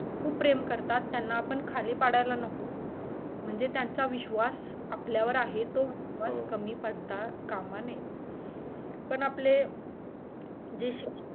खूप प्रेम करतात त्याणा आपण खाली पाडायला नको म्हणजे त्यांच्या विश्वास आपल्यावर आहे तो विश्वास सर्वात कमी पडता कामा नये पण आपले जे शिक्षक